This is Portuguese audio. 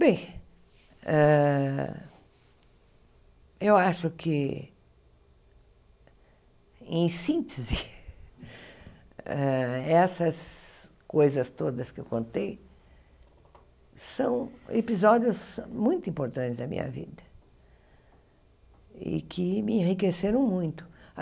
Bem, hã eu acho que, em síntese hã, essas coisas todas que eu contei são episódios muito importantes da minha vida e que me enriqueceram muito.